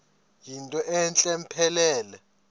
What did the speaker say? yinto entle mpelele